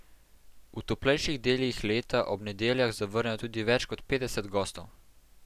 V toplejših delih leta ob nedeljah zavrnejo tudi več kot petdeset gostov.